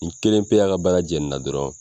N kelen pe y'a ka baara jɛ nin na dɔrɔn